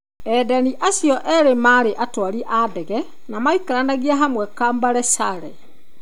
Endani acio eerĩ marĩ atwarithia a ndege, na maikaranagia hamwe Camberley, Surrey.